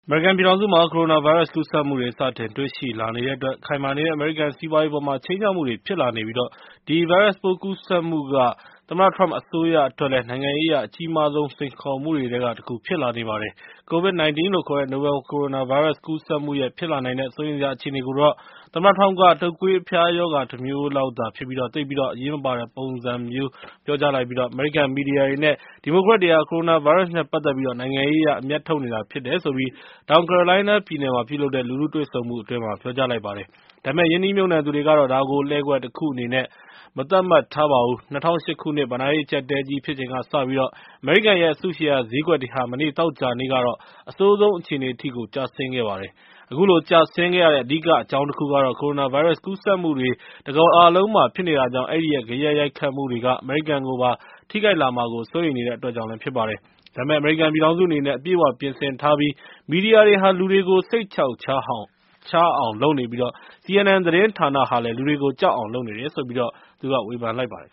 အမေရိကန်ပြည်ထောင်စုမှာ ကိုရိုနာဗိုင်းရပ်စ် ကူးစက်မှုတွေ စတင်တွေ့ရှိလာနေတဲ့အတွက် ခိုင်မာနေတဲ့ အမေရိကန်စီးပွားရေးအပေါ် ခြိမ်းခြောက်မှုတွေ ဖြစ်လာနေပြီး ဒီဗိုင်းရပ်စ်ပိုး ကူးစက်မှုက သမ္မတ Trump အစိုးရအတွက်တော့ နိုင်ငံရေးအရ အကြီးမားဆုံး စိန်ခေါ်မှုတွေထဲက တခု ဖြစ်လာနေပါတယ်။ COVID - 19 လို့ခေါ်တဲ့ နိုဘယ်လ်ကိုရိုနာဗိုင်းရပ်စ် ကူးစက်မှုရဲ့ ဖြစ်လာနိုင်တဲ့ စိုးရိမ်စရာ အခြေအနေကိုတော့ သမ္မတ Trump က တုပ်ကွေးအဖျားရောဂါ တမျိုးလောက်သာဖြစ်ပြီး သိပ်ပြီးတော့ အရေးမပါတဲ့ပုံမျိုးနဲ့ ပြောကြားလိုက်ပြီး အမေရိကန် မီဒီယာတွေနဲ့ ဒီမိုကရက်တွေဟာ ကိုရိုနာဗိုင်းရပ်စ်နဲ့ ပတ်သက်ပြီး နိုင်ငံရေးအရ အမြတ်ထုတ်နေတာ ဖြစ်တယ်လို့ တောင်ကယ်ရိုလိုင်းနားပြည်နယ်မှာ ပြုလုပ်တဲ့ လူထုတွေ့ဆုံပွဲမှာ ပြောကြားလိုက်ပါတယ်။ ဒါပေမယ့် ရင်းနှီးမြှုပ်နှံသူတွေကတော့ ဒါကို လှည့်ကွက်တခုအနေနဲ့ မသတ်မှတ်ပါဘူး။ ၂၀၀၈ ခုနှစ် ဘဏ္ဍာရေး အကျပ်အတည်းကြီး ဖြစ်ချိန်ကစပြီး အမေရိကန်ရဲ့ အစုရှယ်ယာဈေးကွက်တွေဟာ မနေ့ သောကြာနေ့က အဆိုးဆုံးအခြေအနေထိကို ကျဆင်းခဲ့ပါတယ်။ အခုလို ကျဆင်းခဲ့ရတဲ့ အဓိက အကြောင်းတခုကတော့ ကိုရိုနာဗိုင်းရပ်စ် ကူးစက်မှုတွေဟာ တကမ္ဘာလုံးမှာ ဖြစ်နေတာကြောင့် အဲဒီရဲ့ ဂယက်ရိုက်ခတ်မှုတွေက အမေရိကန်ကိုပါ ထိခိုက်လာမှာကို စိုးရိမ်နေတဲ့အတွက် ဖြစ်ပါတယ်။ ဒါပေမယ့် အမေရိကန်ပြည်ထောင်စုအနေနဲ့ အပြည့်အ၀ ပြင်ဆင်ထားပြီး မီဒီယာတွေဟာ လူတွေကို စိတ်ချောက်ချားအောင် လုပ်နေပြီး CNN သတင်းဌာနဟာ လူတွေကို ကြောက်အောင်လုပ်နေတယ်လို့ ဝေဖန်လိုက်ပါတယ်